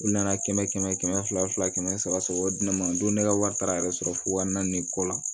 U nana kɛmɛ kɛmɛ fila fila kɛmɛ saba sɔrɔ o di ne ma n don ne ka wari taara yɛrɛ sɔrɔ fo waa naani kɔ la